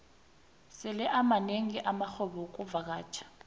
sele amanengi amarhwebo wexkuvakatjha